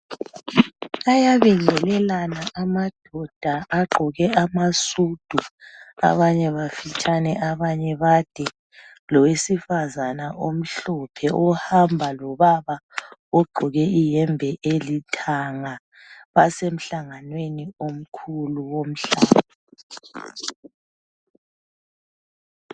Ayabingelelana amadoda agqoke amasudu abanye bafitshane abanye bade lowesifazana omhlophe ohamba lobaba ogqoke iyembe elithanga basemhlanganweni omkhulu womhlaba.